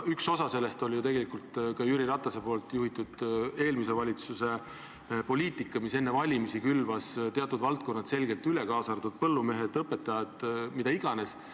Üks põhjusi oli ka Jüri Ratase juhitud eelmise valitsuse poliitika, mis enne valimisi külvas teatud valdkonnad rahaga selgelt üle, kaasa arvatud põllumehed, õpetajad, kes iganes.